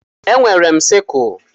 Enwere m siskle.